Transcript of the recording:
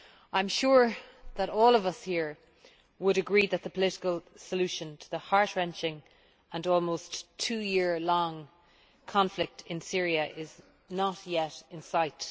I am sure that all of us here would agree that the political solution to the heart wrenching and almost two year long conflict in Syria is not yet in sight.